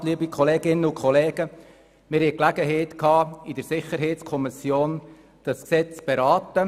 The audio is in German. In der Sicherheitskommission hatten wir die Gelegenheit, dieses Gesetz zu beraten.